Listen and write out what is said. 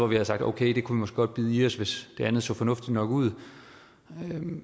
vi havde sagt okay det kunne vi måske godt bide i os hvis det andet så fornuftigt nok ud